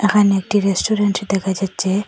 এখানে একটি রেস্টুরেন্ট দেখা যাচ্ছে।